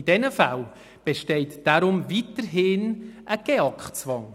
In diesen Fällen besteht weiterhin ein GEAK-Zwang.